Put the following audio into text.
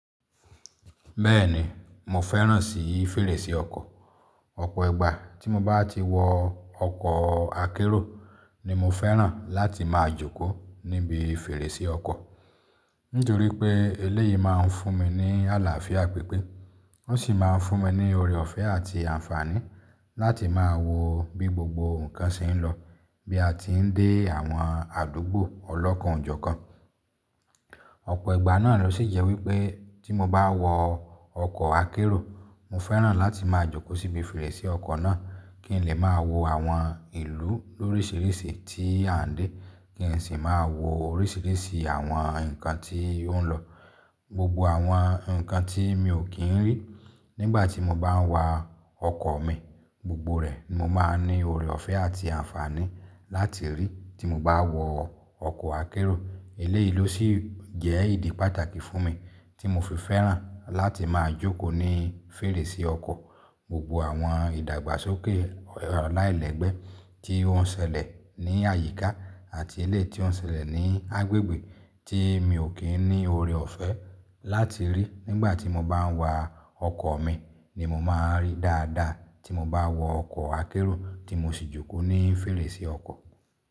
Bẹ́ẹ̀ni, mo fẹ́ràn sí fèrèsé ọkọ̀. Ọ̀pọ̀ ìgbà tí mo bá ti wọ ọkọ̀ akérò ni mo fẹ́ràn láti máa jókòó níbi fèrèsé ọkọ̀. Nítorí pé eléyìí máa ń fún mi ní àlàáfíà pípé, ó sì máa ń fún mi ní ọrẹ ọ̀fẹ́ àti àǹfààní láti máa wo bí gbogbo nǹkan ṣe ń lọ bí a ti ń dé àwọn àdúgbò ọlọ́kọ̀ ń ojọ́ kan. Ọ̀pọ̀ ìgbà náà ló sì jẹ́ wípé tí mo bá wọ ọkọ̀ akérò, mo fẹ́ràn láti máa jókòó síbi fèrèsé ọkọ̀ náà kí n lè máa wo àwọn ìlú lóríṣiríṣi tí à ń dé, kí n sì máa wo oríṣiríṣi àwọn nǹkan tí ó ń lọ. Gbogbo àwọn nǹkan tí mi ò kí ń rí nígbà tí mo bá ń wa ọkọ̀ mi gbogbo rẹ̀ ni mo máa ní ọrẹ ọ̀fẹ́ àti àǹfààní láti rí tí mo bá wọ ọkọ̀ akérò. Eléyìí ló sì jẹ́ ìdí pàtàkì fún mi tí mo fi fẹ́ràn láti máa jókòó ní fèrèsé ọkọ̀. Gbogbo àwọn ìdàgbàsókè aláìlẹ́gbẹ́ tí ó ń ṣẹlẹ̀ ní àyíká àti ilé tí ó ń ṣẹlẹ̀ ní agbègbè tí mi ò kí ń ní ọrẹ ọ̀fẹ́ láti rí nígbà tí mo bá ń wa ọkọ̀ mi ni mo máa ń rí dáadáa tí mo bá wọ ọkọ̀ akérò tí mo sì jókòó ní fèrèsé ọkọ̀.